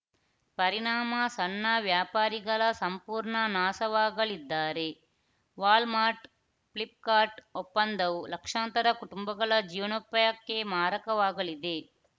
ಪರಿಣಾಮ ಸಣ್ಣ ವ್ಯಾಪಾರಿಗಳ ಸಂಪೂರ್ಣ ನಾಶವಾಗಲಿದ್ದಾರೆ ವಾಲ್‌ಮಾರ್ಟ್‌ ಫ್ಲಿಪ್‌ಕಾರ್ಟ್‌ ಒಪ್ಪಂದವು ಲಕ್ಷಾಂತರ ಕುಟುಂಬಗಳ ಜೀವನೋಪಾಯಕ್ಕೆ ಮಾರಕವಾಗಲಿದೆ